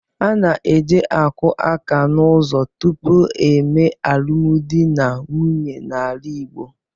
A na-eje akụ aka n'ụzọ tupu e mee alụmdi na nwunye n'ala Igbo.